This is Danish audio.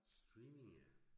Streaming ja